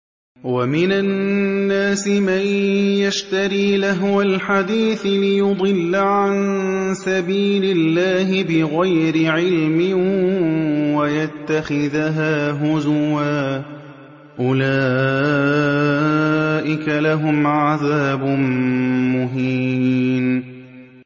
وَمِنَ النَّاسِ مَن يَشْتَرِي لَهْوَ الْحَدِيثِ لِيُضِلَّ عَن سَبِيلِ اللَّهِ بِغَيْرِ عِلْمٍ وَيَتَّخِذَهَا هُزُوًا ۚ أُولَٰئِكَ لَهُمْ عَذَابٌ مُّهِينٌ